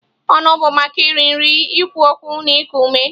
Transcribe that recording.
Ọnụ bụ maka iri nri, ikwu okwu na iku ume.